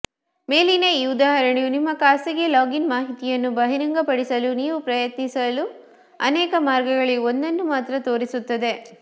ಮೇಲಿನ ಈ ಉದಾಹರಣೆಯು ನಿಮ್ಮ ಖಾಸಗಿ ಲಾಗಿನ್ ಮಾಹಿತಿಯನ್ನು ಬಹಿರಂಗಪಡಿಸಲು ನೀವು ಪ್ರಯತ್ನಿಸಲು ಅನೇಕ ಮಾರ್ಗಗಳಲ್ಲಿ ಒಂದನ್ನು ಮಾತ್ರ ತೋರಿಸುತ್ತದೆ